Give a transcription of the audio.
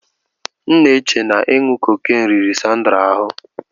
M n'eche na inu cocaine riri Sandra ahụ.